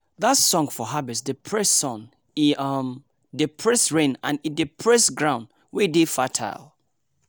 that song for harvest dey praise sun e um dey praise rain and e dey praise ground wey dey fertile.